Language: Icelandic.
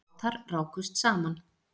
Bátar rákust saman